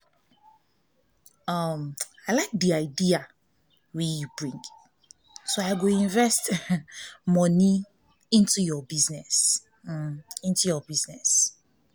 i like the idea wey you bring so i go invest um money into your business into your business um